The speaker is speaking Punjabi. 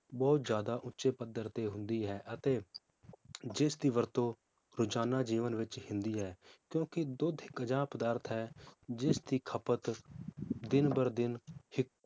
ਬਹੁਤ ਜ਼ਿਆਦਾ ਉਚੇ ਪੱਧਰ ਤੇ ਹੁੰਦੀ ਹੈ ਅਤੇ ਜਿਸ ਦੀ ਵਰਤੋ ਰੋਜਾਨਾ ਜੀਵਨ ਵਿਚ ਹੁੰਦੀ ਹੈ ਕਿਉਂਕਿ ਦੁੱਧ ਇਕ ਅਜਿਹਾ ਪਦਾਰਥ ਹੈ ਜਿਸਦੀ ਖਪਤ ਦਿਨ ਬਰ ਦਿਨ ਛੀ~